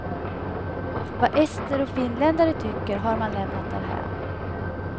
Vad ester och finländare tycker har man lämnat därhän.